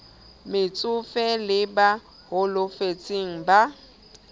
metsofe le ba holofetseng ba